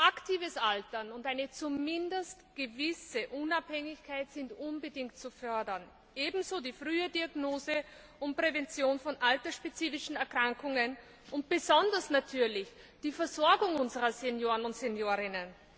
Aktives Altern und eine zumindest gewisse Unabhängigkeit sind unbedingt zu fördern, ebenso die frühe Diagnose und Prävention von altersspezifischen Erkrankungen und besonders natürlich die Versorgung unserer Senioren und Seniorinnen.